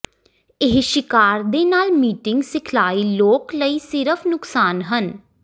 ਇਹ ਸ਼ਿਕਾਰ ਦੇ ਨਾਲ ਮੀਟਿੰਗ ਸਿਖਲਾਈ ਲੋਕ ਲਈ ਸਿਰਫ ਨੁਕਸਾਨ ਹਨ